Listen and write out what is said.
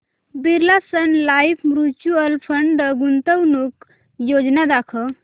Birla Sun Life mutual fund गुंतवणूक योजना दाखव